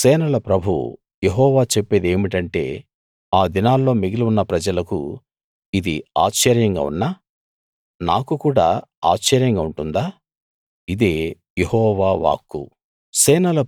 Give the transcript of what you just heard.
సేనల ప్రభువు యెహోవా చెప్పేదేమిటంటే ఆ దినాల్లో మిగిలి ఉన్న ప్రజలకు ఇది ఆశ్చర్యంగా ఉన్నా నాకు కూడా ఆశ్చర్యంగా ఉంటుందా ఇదే యెహోవా వాక్కు